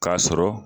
K'a sɔrɔ